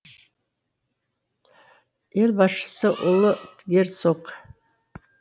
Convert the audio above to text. ел басшысы ұлы герцог